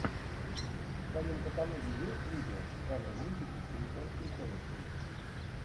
в твоем каталоге есть видео в жанре мультики по японским комиксам